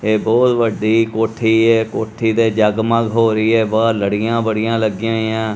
ਇਹ ਬਹੁਤ ਵੱਡੀ ਕੋਠੀ ਹੈ ਕੋਠੀ ਦੇ ਜਗ ਮਗ ਹੋ ਰਹੀ ਹਨ ਬਾਹਰ ਲੜੀਆਂ ਬੜੀਆਂ ਲੱਗੀਆਂ ਹੋਈਆਂ ਹਨ।